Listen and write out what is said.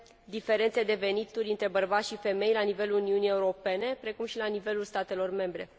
diferențe de venituri între bărbați și femei la nivelul Uniunii Europene, precum și la nivelul statelor membre.